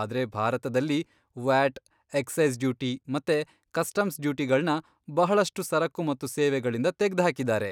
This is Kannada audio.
ಆದ್ರೆ ಭಾರತದಲ್ಲಿ ವ್ಯಾಟ್, ಎಕ್ಸೈಸ್ ಡ್ಯೂಟಿ ಮತ್ತೆ ಕಸ್ಟಮ್ಸ್ ಡ್ಯೂಟಿಗಳ್ನ ಬಹಳಷ್ಟು ಸರಕು ಮತ್ತೆ ಸೇವೆಗಳಿಂದ ತೆಗ್ದ್ಹಾಕಿದ್ದಾರೆ.